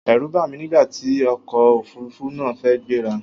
Ẹ̀rù bà mí nígbà tí ọkọ̀ Òfurufú náà fẹ́ gbé ra.